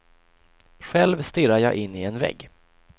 Själv stirrar jag in i en vägg.